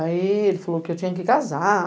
Aí, ele falou que eu tinha que casar.